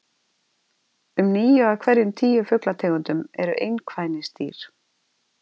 Um níu af hverjum tíu fuglategundum eru einkvænisdýr.